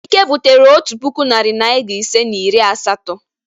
Ike butere otu puku, narị naịra ise na iri asatọ.